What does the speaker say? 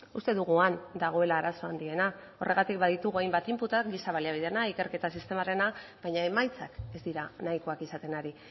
uste dugu han dagoela arazo handiena horregatik baditugu hainbat inputak giza baliabideena ikerketa sistemarena baina emaitzak ez dira nahikoak izaten ari